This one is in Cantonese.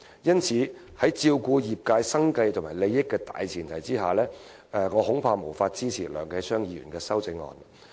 因此，在照顧業界生計和利益的大前提下，我恐怕無法支持梁繼昌議員的修正案。